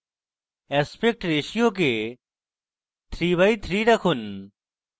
aspect ratio কে 3 by 3 রাখুন